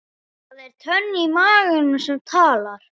Það er tönnin í maganum sem talar.